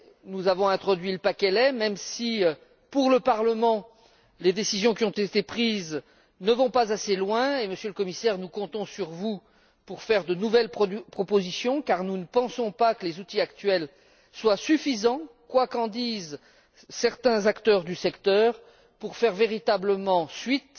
Nous avons introduit le paquet lait même si, pour le Parlement, les décisions qui ont été prises ne vont pas assez loin, Monsieur le Commissaire, nous comptons sur vous pour faire de nouvelles propositions car nous ne pensons pas que les outils actuels soient suffisants quoi qu'en disent certains acteurs du secteur pour faire véritablement suite